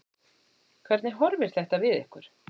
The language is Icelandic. Hvernig horfir þetta við ykkur?